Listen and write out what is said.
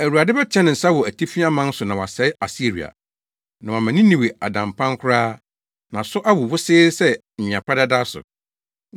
Awurade bɛteɛ ne nsa wɔ atifi aman so na wasɛe Asiria, na wama Ninewe ada mpan koraa na so awo wosee sɛ nwea pradada so.